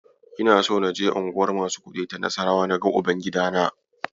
Ina so naje unguwar masu kuɗi ta Nassarawa na ga Uban-gidana.